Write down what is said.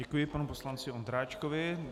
Děkuji panu poslanci Ondráčkovi.